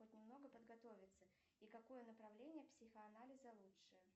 хоть немного подготовиться и какое направление психоанализа лучше